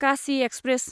Kashi express